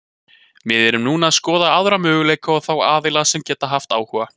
Við erum núna að skoða aðra möguleika og þá aðila sem geta haft áhuga.